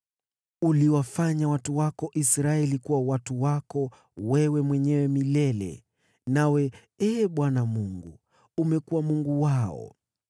Uliwafanya watu wako Israeli kuwa watu wako wewe mwenyewe milele, nawe, Ee Bwana Mungu, umekuwa Mungu wao.